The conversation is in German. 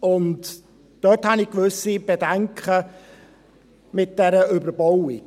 Und dort habe ich gewisse Bedenken wegen dieser Überbauung.